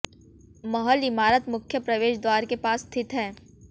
महल इमारत मुख्य प्रवेश द्वार के पास स्थित है